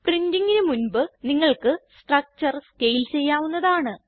പ്രിന്റിങിന് മുൻപ് നിങ്ങൾക്ക് structure scale ചെയ്യാവുന്നതാണ്